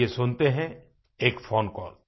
आइये सुनते हैं एक फ़ोन कॉल